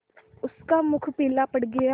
उसका मुख पीला पड़ गया